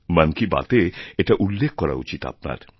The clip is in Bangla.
মন কী বাতএ এটা উল্লেখ করা উচিত আপনার